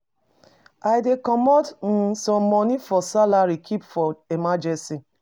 I dey comot um some moni from salary keep for emergency.